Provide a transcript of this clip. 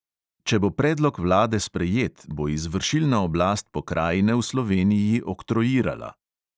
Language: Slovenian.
"Če bo predlog vlade sprejet, bo izvršilna oblast pokrajine v sloveniji oktroirala."